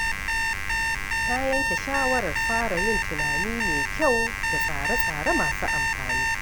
Na yanke shawarar fara yin tunani mai kyau da tsare-tsare masu amfani.